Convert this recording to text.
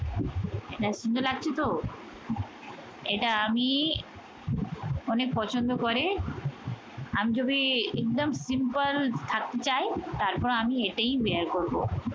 এটা সুন্দর লাগছে তো? এটা আমি অনেক পছন্দ করে আমি যবে একদম simple থাকতে চাই তারপর আমি এটাই bear করবো